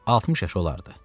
60 yaşı olardı.